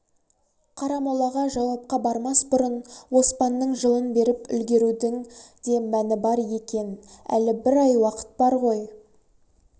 қарамолаға жауапқа бармас бұрын оспанның жылын беріп үлгерудің де мәні бар екен әлі бір ай уақыт бар ғой